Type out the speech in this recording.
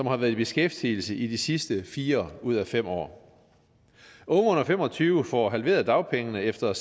har været i beskæftigelse i de sidste fire ud af fem år unge under fem og tyve år får halveret dagpengene efter